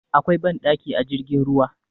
Akwai banɗaki a jirgin ruwa